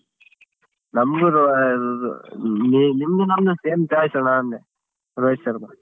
ನಮ್ಗ್ನು ಆ ಆ ನಿಮ್ದು ನಮ್ದು same choice ಅಣ್ಣಾ ಅಂದೇ ರೋಹಿತ್ ಶರ್ಮಾ.